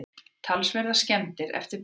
Talsverðar skemmdir eftir bruna